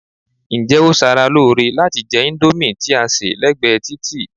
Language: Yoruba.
Ǹjẹ́ ó ṣara lóore láti jẹ índómì tí a sè lẹ́gbẹ̀ẹ́ títì?